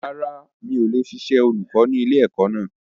Rárá, mi ò lè ṣiṣẹ́ olùkọ́ ni ilẹ̀ ẹ̀kọ́ náà